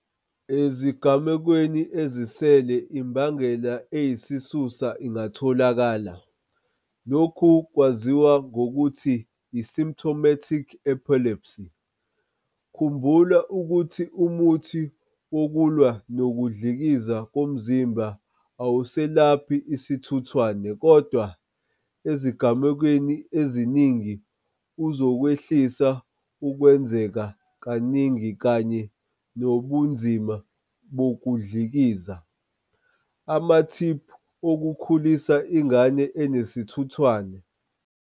Ezigamekweni ezisele imbangela eyisisusa ingatholakala, lokhu kwaziwa ngokuthi i-symptomatic epilepsy. Khumbula, ukuthi umuthi wokulwa nokudlikiza komzimba awuselaphi isithuthwane kodwa, ezigamekweni eziningi, uzokwehlisa ukwenzeka kaningi kanye nobunzima bokudlikiza. Amathiphu okukhulisa ingane enesithuthwane.